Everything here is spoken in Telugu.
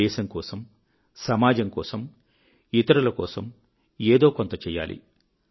దేశం కోసం సమాజం కోసం ఇతరుల కోసం ఏదో కొంత చేయాలి